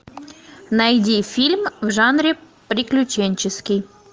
найди фильм в жанре приключенческий